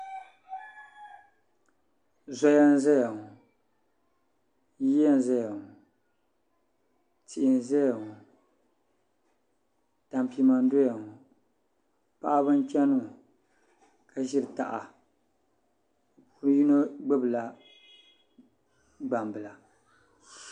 Zoya n ʒɛya ŋo yiya n ʒɛya ŋo tihi n ʒɛya ŋo tampima n doya ŋo paɣaba n chɛni ŋo ka ʒiri taha bi yino gbubila gbambila